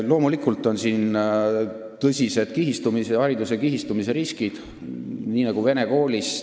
Loomulikult on siin tõsised hariduse kihistumise riskid.